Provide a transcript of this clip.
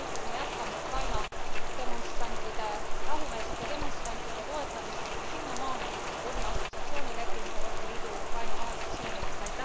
Ja loomulikult me jätkame Ukraina demonstrantide, rahumeelsete demonstrantide toetamist kuni sinnamaani, kuni assotsiatsioonileping Euroopa Liidu ja Ukraina vahel saab sõlmitud.